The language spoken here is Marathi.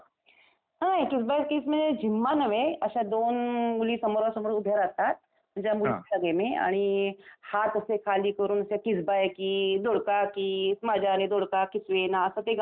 अह, कीस बाई कीस म्हणजे झिम्मा नव्हे. अशा दोन मुली सामोरासमोर उभ्या राहतात, म्हणजे हा मुलींचा गेम आहे आणि हात असे खाली करून असे कीस बाई कीस दोडका कीस, माझ्याने दोडका किसवेना, असं ते गाणं म्हणायचं.